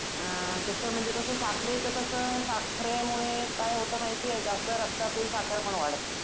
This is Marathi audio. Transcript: अ तसं म्हणजे कसं साखरेचं कसं साखरेमुळे काय होतं माहिती ये रक्तातील साखर पण वाढते.